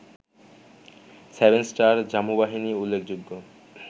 seven star, জামু বাহিনী উল্লেখযোগ্য